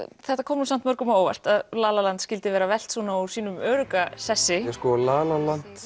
þetta kom nú samt mörgum á óvart að la la land skyldi vera velt svona úr sínum örugga sessi sko la la land